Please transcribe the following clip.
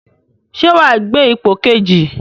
Ṣé wàá gbé ipò kejì?